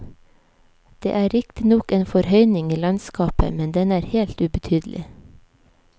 Det er riktignok en forhøyning i landskapet, men den er helt ubetydelig.